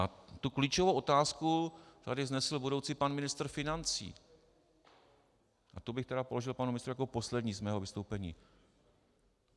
A tu klíčovou otázku tady vznesl budoucí pan ministr financí a tu bych tedy položil panu ministrovi jako poslední z mého vystoupení.